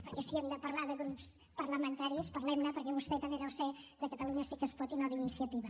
perquè si hem de parlar de grups parlamentaris parlem ne perquè vostè també deu ser de catalunya sí que es pot i no d’iniciativa